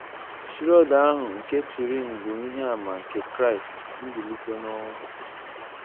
The Shroud nke Turin bụ ìhè àmà nke Kraịst Mbilítè n’Ọnwụ!